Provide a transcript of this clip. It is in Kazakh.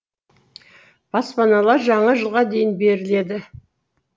баспаналар жаңа жылға дейін беріледі